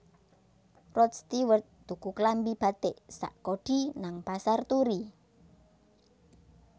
Rod Stewart tuku klambi batik sak kodi nang Pasar Turi